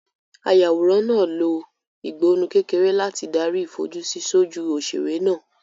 Ayàwòrán náà lo ìgbọnnu kékeré láti darí ìfojúsí sójú òṣèré náà.